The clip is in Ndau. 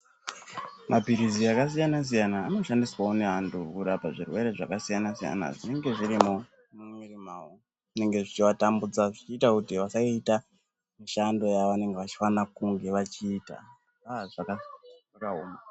Maphirizi akasiyana-siyana anoshandiswavo nevantu kurapa zvirwere zvakasiyana-siyana zvinenge zvirimwo mumwiri mavo. Zvinenge zvichivatambudza zvichiita kuti vasaita mishando yavanenge vachifanira kunge vachiita aa zvaka zvakaoma.